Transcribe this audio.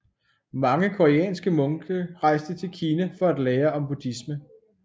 Mange koreanske munke rejste til Kina for at lære om buddhisme